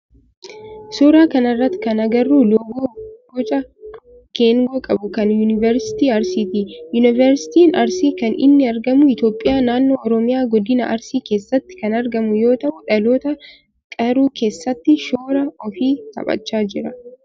Suuraa kana irratti kan agarru loogoo boca geengoo qabu kan yunivarsiitii Arsiiti. Yunivarsiitiin Arsii kan inni argamu Itiyoophiyaa naannoo oromiyaa godina Arsii keessatti kan argamu yoo ta'u dhaloota qaruu keessatti shoora ofi taphachaa jira.